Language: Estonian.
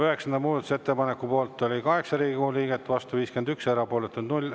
Üheksanda muudatusettepaneku poolt oli 8 Riigikogu liiget, vastu 51, erapooletuid 0.